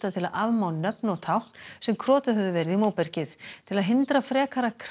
til að afmá nöfn og tákn sem krotuð höfðu verið á móbergið til að hindra frekara